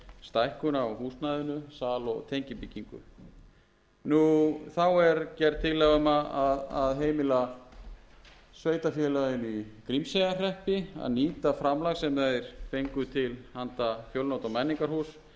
og tengibyggingu þá er gerð tillaga um að heimila sveitarfélaginu í grímseyjarhreppi að nýta framlag sem þeir fengu til handa fjölnota menningarhúsið